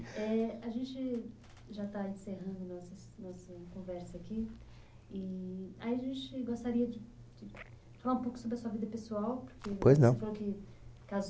Éh... A gente, já está encerrando nossa, nossa conversa aqui e... Aí a gente gostaria de, de falar um pouco sobre a sua vida pessoal porque... Pois não. Você falou que